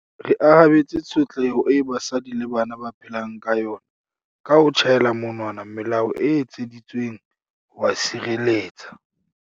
Re arabetse tshotleho eo basadi le bana ba phelang ka yona ka ho tjhaela monwana melao e etseditsweng ho ba sireletsa.